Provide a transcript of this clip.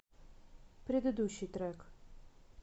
предыдущий трек